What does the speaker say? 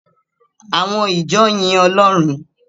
Àwọn ìjọ yin Ọlọ́run.